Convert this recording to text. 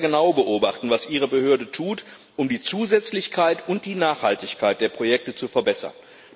Ich werde sehr genau beobachten, was Ihre Behörde tut, um die Zusätzlichkeit und die Nachhaltigkeit der Projekte zu verbessern.